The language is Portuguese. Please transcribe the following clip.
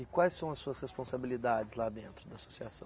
E quais são as suas responsabilidades lá dentro da associação?